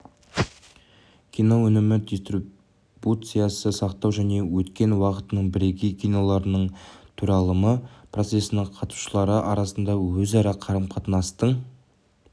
кино өнімі дистрибуциясы сақтау және өткен уақыттың бірегей киноларының таралымы процесінің қатысушылары арасындағы өзара қарым-қатынастың